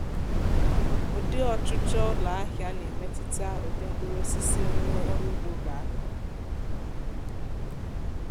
ụdị ọchụchọ ụlọahịa na-emetụta ụdị mkpurụosisi onye ọrụ ugbo ga-akọ